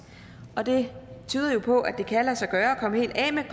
og det tyder jo på at det kan lade sig gøre at komme helt af med